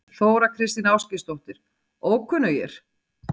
Þóra Kristín Ásgeirsdóttir: Ókunnugir?